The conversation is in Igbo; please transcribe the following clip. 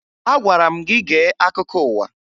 Agwara m gị gee akụkọ ụwa!